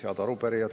Head arupärijad!